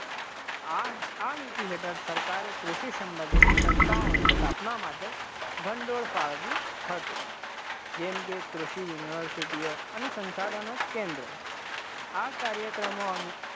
આ આ નીતિ હેઠળ સરકારે કૃષિ સંબંધિત સંસ્થાઓની સ્થાપના માટે ભંડોળ ફાળવ્યું હતું, જેમ કે કૃષિ university ઓ અને સંસાધનો કેન્દ્રો, આ કાર્યક્રમો અંગે